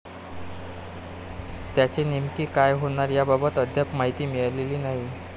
त्याचे नेमके काय होणार याबाबत अद्याप माहिती मिळालेली नाही.